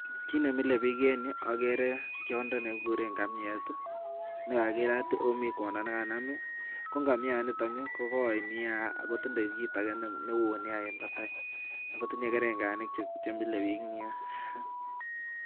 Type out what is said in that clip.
Ki nemile piik en yu agere tiondo nekiguren ngamiet negagirat oh mi corner negakinam. Ko ngamienita ko goi nia ago tindo kiit neo nia en batai.